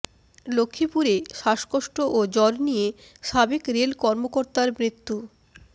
লক্ষ্মীপুরে শ্বাসকষ্ট ও জ্বর নিয়ে সাবেক রেল কর্মকর্তার মৃত্যু